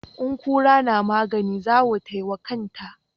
In kura na maganin zawo tai wa kanta.